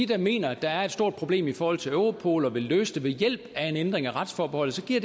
der mener at der er et stort problem i forhold til europol og som vil løse det ved hjælp af en ændring af retsforbeholdet er